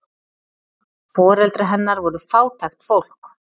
Foreldrar hennar voru fátækt fólk.